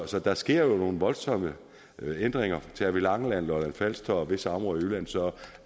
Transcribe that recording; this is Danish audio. så der sker nogle voldsomme ændringer tager vi langeland lolland falster og visse områder i jylland ser